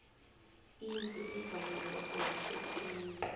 indlu egwaliweko yihle khulu